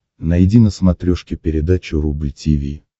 найди на смотрешке передачу рубль ти ви